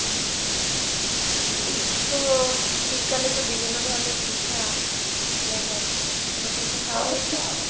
তো শীতকালে তো বিভিন্ন ধরনের পিঠা ইয়ে হয়, কোন পিঠে খাওয়া হয়েছে এখনো?